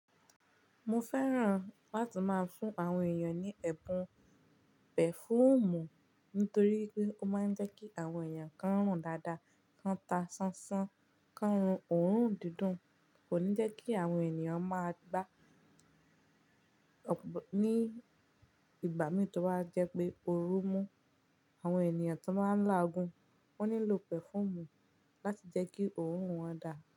Mo fẹ́ràn láti máa fún àwọn èèyàn ní ẹ̀ebùn pẹ̀fúùmù nítorí pé ó máa ń jẹ́ kí àwọn èèyàn kan rùn dáadáa, kan ta ṣánṣán, kan rùn òórùn dídùn, kò ní jẹ́ kí àwọn ènìyàn máa gbaá ní ìgbà mìín tó máa jẹ́ pé ooru mú. Àwọn ènìyàn tan baa ń lágun wọ́n nílò pẹ̀fúùmù láti jẹ́ kí òórùn wọn dà.